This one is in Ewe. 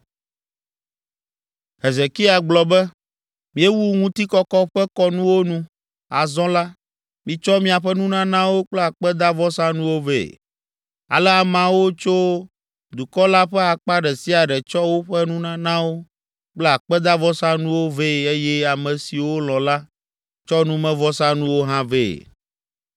Hezekia gblɔ be, “Míewu ŋutikɔkɔ ƒe kɔnuwo nu, azɔ la, mitsɔ miaƒe nunanawo kple akpedavɔsanuwo vɛ.” Ale ameawo tso dukɔ la ƒe akpa ɖe sia ɖe tsɔ woƒe nunanawo kple akpedavɔsanuwo vɛ eye ame siwo lɔ̃ la, tsɔ numevɔsanuwo hã vɛ.